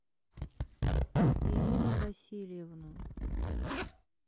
ирину васильевну